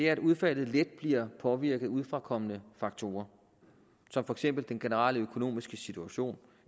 at udfaldet let bliver påvirket af udefrakommende faktorer som for eksempel den generelle økonomiske situation